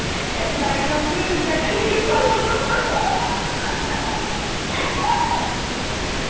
diagram তোয়ে ওলতাকে লিখি থৈছিলো